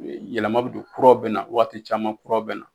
Yɛlɛma don kuraw be na waati caman kuraw be na.